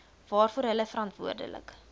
waarvoor hulle verantwoordelik